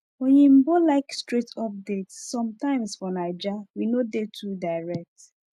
oyinbo like straight update sometimes for naija we no dey too direct